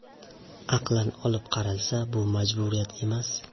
Aqlan olib qaralsa, bu majburiyat emas.